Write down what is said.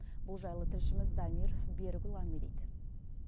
бұл жайлы тілшіміз дамир берікұлы әңгімелейді